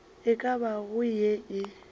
e ka bago ye e